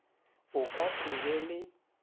o ka se be le